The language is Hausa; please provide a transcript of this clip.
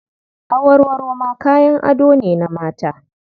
Awarwaro ma kayan ado ne na mata.